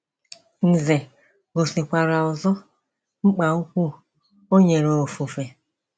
Ǹzè gosikwara ọzọ mkpa ukwu o nyere ofufe.